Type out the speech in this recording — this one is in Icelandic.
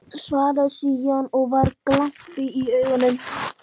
Svaraði síðan, og var glampi í augunum